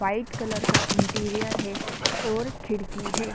White colour का interior है और खिड़की है।